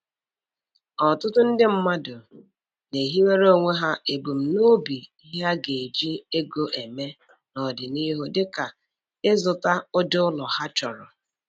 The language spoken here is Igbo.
Ọtụtụ ndị mmadụ na-ehiwere onwe ha ebumnobi ihe ha ga-eji ego eme n'ọdịnihu dịka ịzụta ụdị ụlọ ha chọrọ